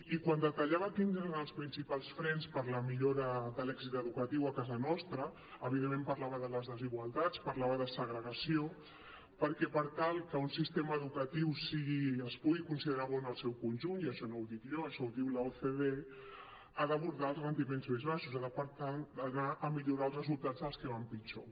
i quan detallava quins eren els principals frens per a la millora de l’èxit educatiu a casa nostra evidentment parlava de les desigualtats parlava de segregació perquè per tal que un sistema educatiu es pugui considerar bo en el seu conjunt i això no ho dic jo això ho diu l’ocde ha d’abordar els rendiments més baixos ha de per tant anar a millorar els resultats dels que van pitjor